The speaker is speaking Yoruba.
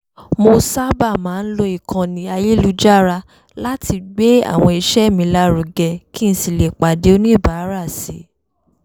mo sábà máa ń lo ìkànnì ayélujára láti gbé àwọn iṣẹ́ mi lárugẹ kí n sì lè pàdé oníbàárà si